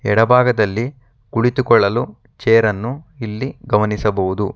ಎಡಬಾಗದಲ್ಲಿ ಕುಳಿತುಕೊಳ್ಳಲು ಚೇರನ್ನು ಇಲ್ಲಿ ಗಮನಿಸಬಹುದು.